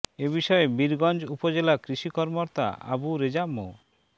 এ বিষয়ে বীরগঞ্জ উপজেলা কৃষি কর্মকর্তা আবু রেজা মো